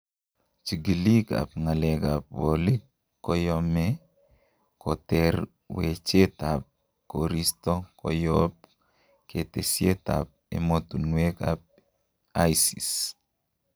Chigiliik ab ngaleek ab bolik koyomee koter wecheet ab koristo koyoop ketesiet ab emotunweek ab ISS.